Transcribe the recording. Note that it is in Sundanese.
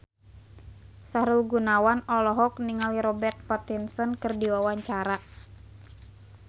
Sahrul Gunawan olohok ningali Robert Pattinson keur diwawancara